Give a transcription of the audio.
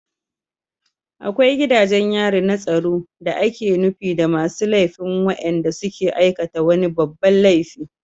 Akwai gidajen yari na tsaro da ake nufi da masu laifi waɗanda suka aikata wani babban laifi